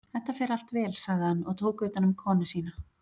Þetta fer allt vel, sagði hann og tók utanum konu sína.